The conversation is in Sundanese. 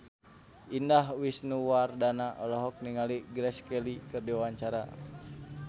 Indah Wisnuwardana olohok ningali Grace Kelly keur diwawancara